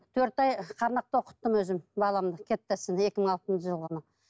төрт ай оқыттым өзім баламды екі мың алтыншы жылғыны